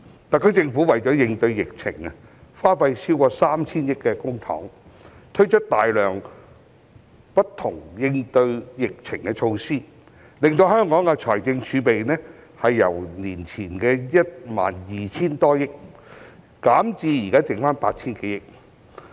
特區政府為應對疫情，耗資超過 3,000 億元公帑，推出大量應對疫情的措施，令香港的財政儲備由前年 12,000 多億元，減至目前餘下 8,000 多億元。